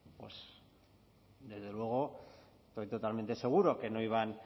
pue desde luego estoy totalmente seguro que no iban